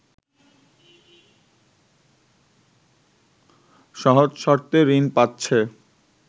সহজ শর্তে ঋণ পাচ্ছে